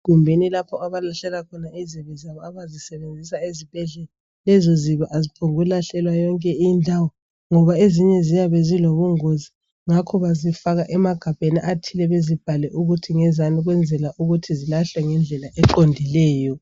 Egumbuni lapho abalahlela khona izibi zabo abazisebenzisa ezibhedlela lezo zibi aziphongu lahlelwa yonke indawo ngoba ezinye ziyabe zilobungozi ngakho bazifaka emagabheni athile bezibhale ukuthi ngezani ukuze zilahlwe ngendlela eqondileyo.